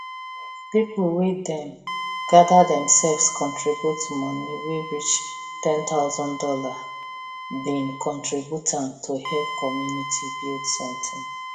pipu wey dem gather themselves contribute money wey reach ten thousand dollar bin contribute am to help community build somtin